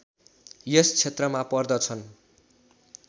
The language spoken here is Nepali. यस क्षेत्रमा पर्दछन्